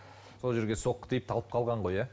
сол жерге соққы тиіп талып қалған ғой иә